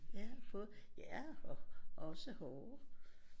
Ja både ja også hårde